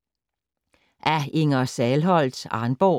Af Inger Sahlholdt, Arnborg